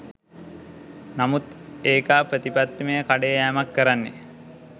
නමුත් ඒකා ප්‍රතිපත්තිමය කඩේ යෑමක් කරන්නේ.